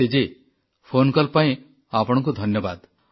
ସୃଷ୍ଟିଜୀ phone call ପାଇଁ ଆପଣଙ୍କୁ ଧନ୍ୟବାଦ